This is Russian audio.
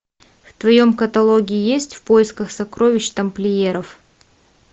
в твоем каталоге есть в поисках сокровищ тамплиеров